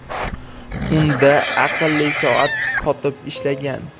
Unda aqlli soat qotib ishlagan.